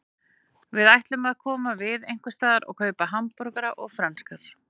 Við ætlum að koma við einhversstaðar og kaupa hamborgara og franskar.